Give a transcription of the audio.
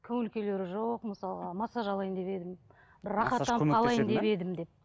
көңіл күйлері жоқ мысалы массаж алайын деп едім бір рахаттанып қалайын деп едім деп